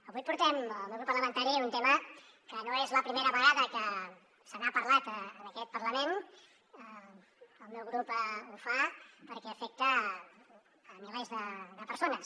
avui portem el meu grup parlamentari un tema que no és la primera vegada que se n’ha parlat en aquest parlament el meu grup ho fa perquè afecta milers de persones